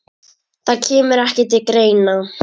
Það kemur ekki til greina!